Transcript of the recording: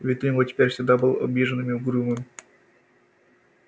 вид у него теперь всегда был обиженный и угрюмый